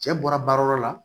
Cɛ bɔra baarayɔrɔ la